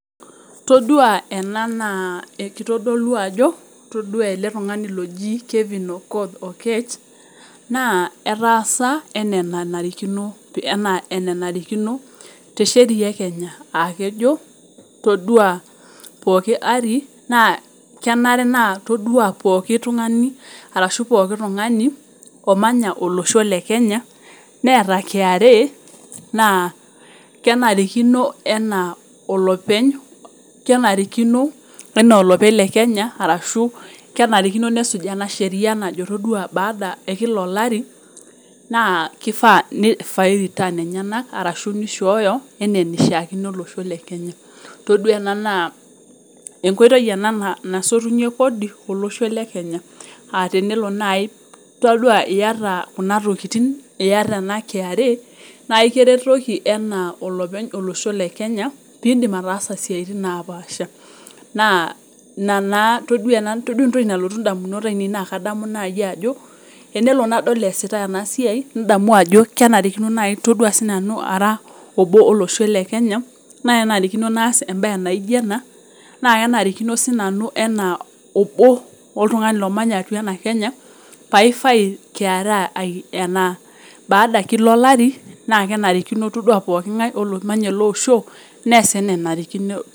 Keitodolu ena ajo ore ele tungani oji Kelvin Okoth Okech naa etaasa naa enanarikino te sheria e Kenya. Aa kejo, ore pooki ari ore pooki tungani omanya olosho le kenya neeta KRA naa kenarikino anaa lolopeny lekenya nesijaa ena sheria nojo ore tepooki ari naa enarikino neishooyo returns olosho lesho le Kenya. Todua ena naa enkoitoi ena nasotunyie kodi olosho lekenya aa teneolo naaji ore iyata ena kra naa ekiretoki ana olosho le kenya peyie iyass intokitin naapaasha. Naa inatoki nalotu indamunot aine ajo tenelo nadol eesitai ena siai nadol ajoore sii nanu ara enolosho lekenya, naa kenarikino naasa ena. Kenarikono naas ena te pooki ari. Ore pooki ngae neas anaa nanarikino.